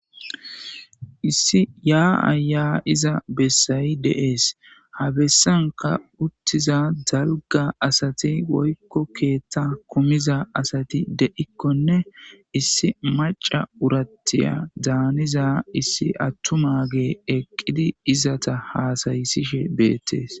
Issi yaa'a yaa'ia bessayi dees. Ha bessanka uttiza dalga asati woykko keeththa kumiza asati de'ikkonne issi maca urattiyadaan haniza issi attumage eqqidi izata haasayisishe beettees.